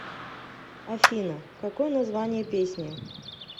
афина какое название песни